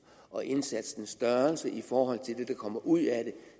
og indsatsens størrelse i forhold til det der kommer ud af den